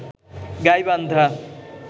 Gaibandha